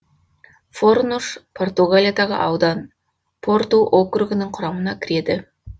форнуш португалиядағы аудан порту округінің құрамына кіреді